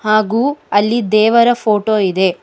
ಹಾಗು ಅಲ್ಲಿ ದೇವರ ಫೋಟೋ ಇದೆ.